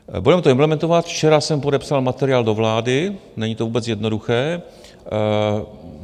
Budeme to implementovat, včera jsem podepsal materiál do vlády, není to vůbec jednoduché.